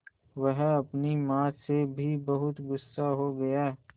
वह अपनी माँ से भी बहुत गु़स्सा हो गया